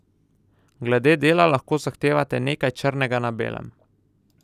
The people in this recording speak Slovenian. Glede dela lahko zahtevate nekaj črnega na belem.